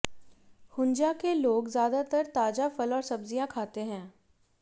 हुंजा के लोग ज्यादातर ताजा फल और सब्जियां खाते हैं